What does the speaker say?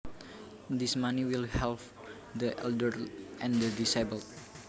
This money will help the elderly and the disabled